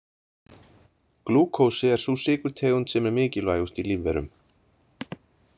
Glúkósi er sú sykurtegund sem er mikilvægust í lífverum.